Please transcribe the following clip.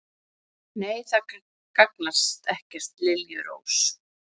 Nei, það gagnar ekkert, liljurós.